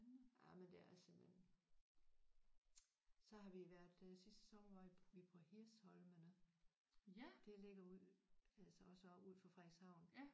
Jamen det er simpelthen så har vi været øh sidste sommer var vi vi på Hirsholmene det ligger ude altså også ud for Frederikshavn